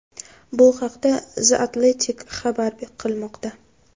Bu haqda The Athletic xabar qilmoqda .